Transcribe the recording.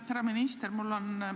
Härra minister!